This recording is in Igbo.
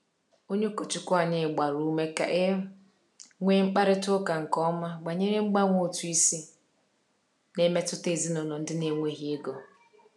Onye ụkọchukwu anyị gbara ume ka e nwee mkparịta ụka nke ọma banyere mgbanwe ụtụ isi na-emetụta ezinụlọ ndị na-enweghị ego.